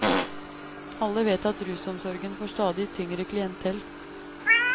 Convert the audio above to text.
Alle vet at rusomsorgen får stadig tyngre klientell.